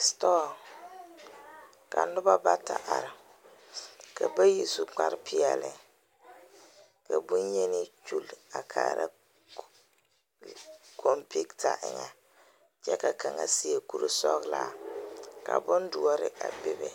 Store ka noba bata are ka bayi su kparepeɛlle ka bonyeni kyulli a kaara computer eŋɛ kyɛ ka kaŋa seɛ kurisɔglaa ka bondoɔre a bebe.